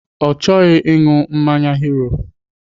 Ọ chọghị ịṅụ mmanya Hero.